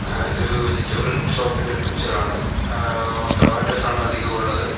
അഹ് ഇതൊരു വെജിറ്റബിൾ ഷോപ്പിൻ്റെ ഒരു പിക്ചർ ആണ് ആഹ് ടൊമാറ്റോസ് ആണ് അധികവും ഉള്ളത്.